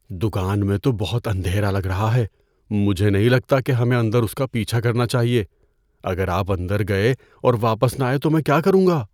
دکان میں تو بہت اندھیرا لگ رہا ہے۔ مجھے نہیں لگتا کہ ہمیں اندر اس کا پیچھا کرنا چاہیے۔ اگر آپ اندر گئے اور واپس نہ آئے تو میں کیا کروں گا؟